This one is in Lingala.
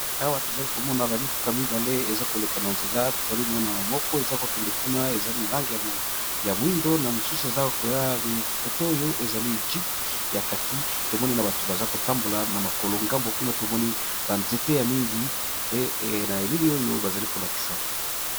Awa tozali komona bamituka mibale eza koleka na nzela. Tozali komona moko eza kokende mkuna ezali lange ya moindo na mosusu eza koyakote oyo ezali egypte ya kaki tomoni na bato baza kotambola na makolo ngambo kuna tomoni banzete ya mingi na eleli oyo bazali kolakisa.